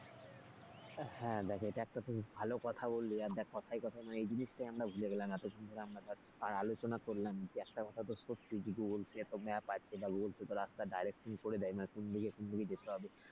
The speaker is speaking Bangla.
হ্যাঁ দেখ এটা একটা তুই একটা ভালো কথা বললি, আর দেখ কথায় কথায় এই জিনিসটাই আমরা ভুলে গেলাম এতখন ধরে আমরা ধর আলোচনা করলাম যে একটা কথা তো সত্যি যে road map আছে সেতো রাস্তার direction করে দেয় মানে কোন দিকে কোন দিকে যেতে হবে,